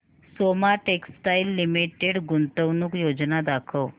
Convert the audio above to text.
Soma textile limited गुंतवणूक योजना दाखव